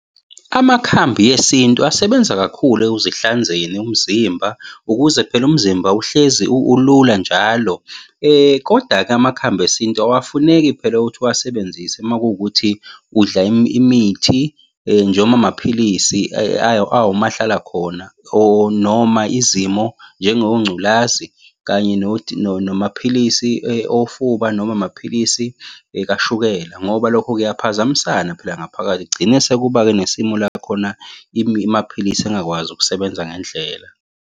Amakhambi esintu asebenza kakhulu ekuzihlanzeni umzimba, ukuze phela umzimba uhlezi ulula njalo, koda-ke amakhambi esintu awafuneki phela ukuthi uwasebenzise uma kuwukuthi udla imithi nje noma amaphilisi awomahlala khona or noma izimo njengongculazi, kanye nomaphilisi ofuba noma amaphilisi kashukela, ngoba lokho kuyaphazamisa phela ngaphakathi. Kugcine sekuba-ke nesimo la khona amaphilisi engakwazi ukusebenza ngendlela.